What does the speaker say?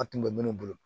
An tun bɛ minnu bolo